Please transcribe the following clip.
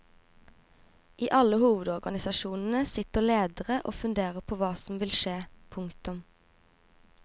I alle hovedorganisasjonene sitter lederne og funderer på hva som vil skje. punktum